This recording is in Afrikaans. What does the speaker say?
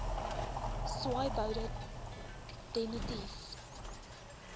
swaaiboude de nitief